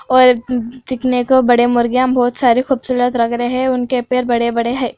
और अ दिखने को बड़े मुर्गियाँ बहोत सारी खूबसूरत लग रहे है उनके पैर बड़े-बड़े है।